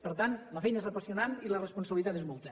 per tant la feina és apassionant i la responsabilitat és molta